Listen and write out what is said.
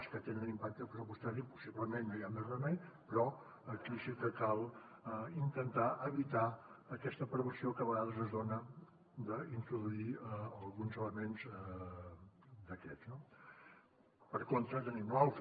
les que tenen un impacte pressupostari possiblement no hi ha més remei però aquí sí que cal intentar evitar aquesta perversió que a vegades es dona d’introduir alguns elements d’aquests no per contra tenim l’altre